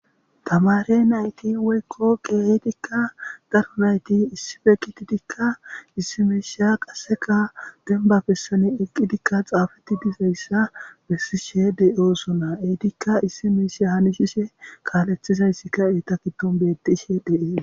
tamare nayti woykko keetikka garonayti issife kititikka issi mesha qasseka benba bessani eqqidikka xaafetti dizayssa bessishe de7osona eitikka issi miishe hanishishe kaalethizayssika eetakidon bettishe dee